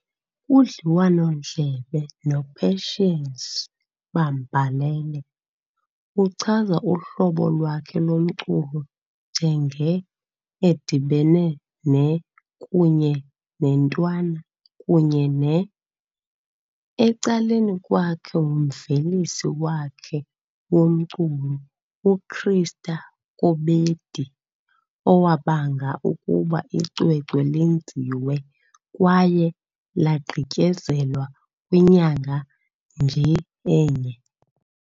Kudliwanondlebe noPatience Bambalele ", uchaza uhlobo lwakhe lomculo njenge edibene ne kunye nentwana kunye ne . Ecaleni kwakhe ngumvelisi wakhe womculo uChrister Kobedi, owabanga ukuba icwecwe lenziwe kwaye lagqityezelwa kwinyanga nje enye.